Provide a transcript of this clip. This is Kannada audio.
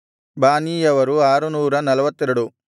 ಬಾನೀಯವರು 642